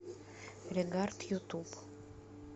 регард ютуб